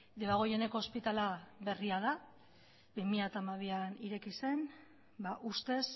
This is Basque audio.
debagoieneko ospitala berria da bi mila hamabian ireki zen ba ustez